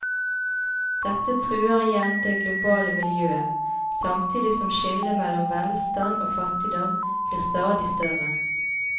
Dette truer igjen det globale miljøet, samtidig som skillet mellom velstand og fattigdom blir stadig større.